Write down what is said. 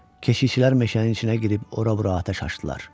Keşişçilər meşənin içinə girib ora-bura atəş açdılar.